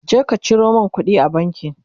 je ka Ciro min kuɗi a banki!